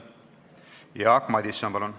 Jaak Madison, palun!